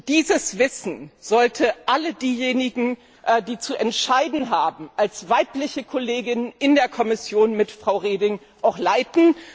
Dieses Wissen sollte alle diejenigen, die zu entscheiden haben, als Kolleginnen in der Kommission mit Frau Reding auch leiten.